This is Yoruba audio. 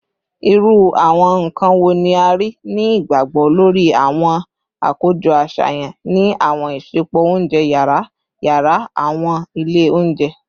Iru awọn nkan wo ni a rii ni igbagbogbo lori awọn akojọ aṣayan ni awọn isẹpo ounjẹ yara yara / awọn ile ounjẹ?